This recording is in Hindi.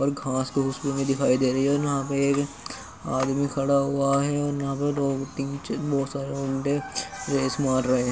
और घास फूँस दिखाई दे रही है। आदमी खड़ा हुआ है। रहे हैं।